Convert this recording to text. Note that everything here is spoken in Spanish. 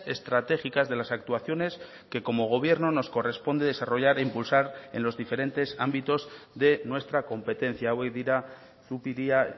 estratégicas de las actuaciones que como gobierno nos corresponde desarrollar e impulsar en los diferentes ámbitos de nuestra competencia hauek dira zupiria